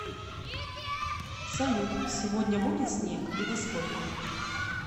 салют сегодня будет снег и во сколько